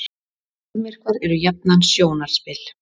sólmyrkvar eru jafnan sjónarspil